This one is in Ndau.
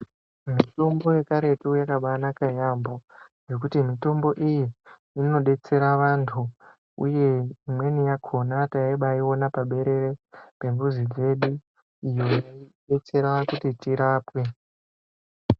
Mitombo yekare yakabaanaka yaamho nekuti mitombo iyi inobetsera vantu uye imweni yakona taibaiwona paberere pemuzi wedu iyo yaibetsera kuti tirapwe.